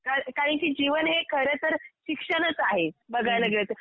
कारण की जीवन हे खरंतर शिक्षणच आहे बघायला गेलं तर